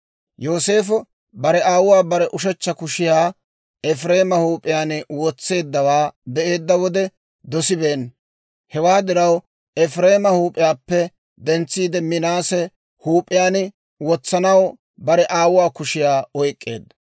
Yooseefo bare aawuu bare ushechcha kushiyaa Efireema huup'iyaan wotseeddawaa be'eedda wode dosibeenna. Hewaa diraw, Efireema huup'iyaappe dentsiide, Minaase huup'iyaan wotsanaw bare aawuwaa kushiyaa oyk'k'eedda.